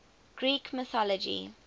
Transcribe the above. greek mythology